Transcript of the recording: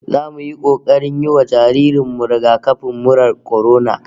Zamu yi kokarin yi wa jaririn mu rigakafin murar kwarona